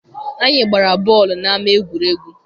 Anyị gbara bọọlụ n'ama egwuregwu.